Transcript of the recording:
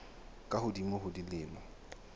ba ka hodimo ho dilemo